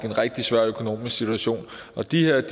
en rigtig svær økonomisk situation at de her